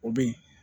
O be yen